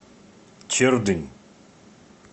чердынь